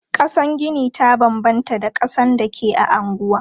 Kasan gini ta banbanta da kasan da ke a anguwa.